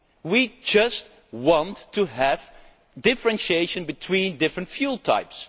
We just want to have differentiation between different fuel types.